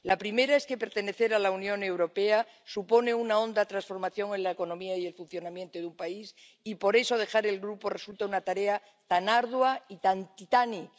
La primera es que pertenecer a la Unión Europea supone una honda transformación en la economía y el funcionamiento de un país y, por eso, dejar el grupo resulta una tarea tan ardua y tan titánica.